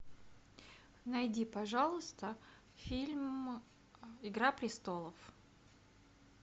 найди пожалуйста фильм игра престолов